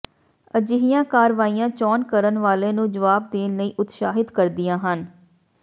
ਅਜਿਹੀਆਂ ਕਾਰਵਾਈਆਂ ਚੋਣ ਕਰਨ ਵਾਲੇ ਨੂੰ ਜਵਾਬ ਦੇਣ ਲਈ ਉਤਸ਼ਾਹਤ ਕਰਦੀਆਂ ਹਨ